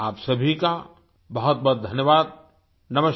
आप सभी का बहुतबहुत धन्यवाद नमस्कार